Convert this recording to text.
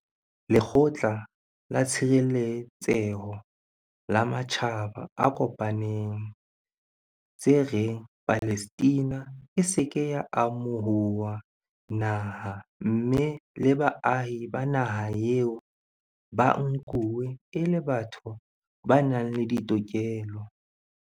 Lekgotla la Tshireletseho la Matjhaba a Kopaneng, tse reng Palestina e se ke ya amo huwa naha mme le baahi ba naha eo ba nkuwe e le batho ba nang le ditokelo.